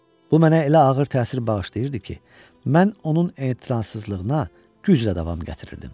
Bu mənə elə ağır təsir bağışlayırdı ki, mən onun etinasızlığına güclə davam gətirirdim.